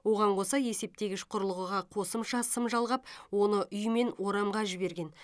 оған қоса есептегіш құрылғыға қосымша сым жалғап оны үй мен орамға жіберген